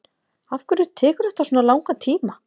afhverju tekur þetta svona langan tíma